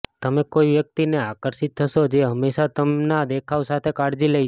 તમે કોઈ વ્યક્તિને આકર્ષિત થશો જે હંમેશા તેમના દેખાવ સાથે કાળજી લે છે